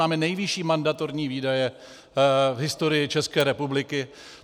Máme nejvyšší mandatorní výdaje v historii České republiky.